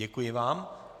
Děkuji vám.